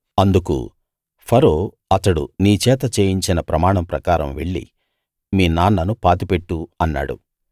అందుకు ఫరో అతడు నీ చేత చేయించిన ప్రమాణం ప్రకారం వెళ్ళి మీ నాన్నను పాతిపెట్టు అన్నాడు